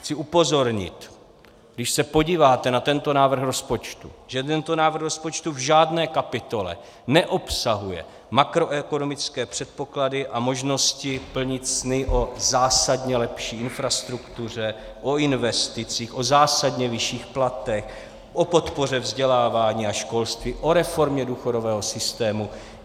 Chci upozornit, když se podíváte na tento návrh rozpočtu, že tento návrh rozpočtu v žádné kapitole neobsahuje makroekonomické předpoklady a možnosti plnit sny o zásadně lepší infrastruktuře, o investicích, o zásadně vyšších platech, o podpoře vzdělávání a školství, o reformě důchodového systému.